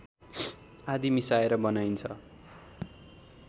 आदि मिसाएर बनाइन्छ